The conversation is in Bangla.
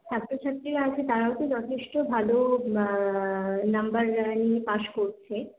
ছাত্রছাত্রীরা আছে তারাও তো যথেষ্ট ভালো অ্যা number নিয়ে পাস করছে।